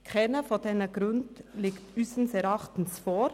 Keiner dieser Gründe liegt unseres Erachtens hier vor.